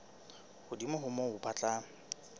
hodimo ho moo ba tla